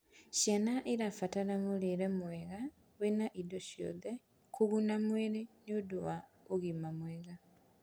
Ciana irabatara miurire mwega wĩna indo cia kuguna mwĩrĩ nĩũndũ wa ũgima mwega